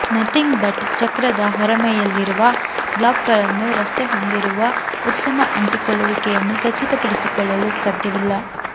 nothing but ಚಕ್ರದ ಹೊರಮೈಯಲ್ಲಿರುವ ಬ್ಲಾಕ್ಗಳನ್ನು ರಸ್ತೆ ಹೊಂದಿರುವ ಉತ್ತಮ ಅಂಟಿಕೊಳ್ಳುವಿಕೆಯನ್ನು ಖಚಿತಪಡಿಸಿಕೊಳ್ಳಲು ಸಾಧ್ಯವಿಲ್ಲ